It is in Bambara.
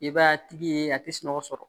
I b'a tigi ye a tɛ sunɔgɔ